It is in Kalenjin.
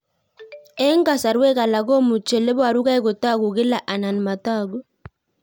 Eng' kasarwek alak komuchi ole parukei kotag'u kila anan matag'u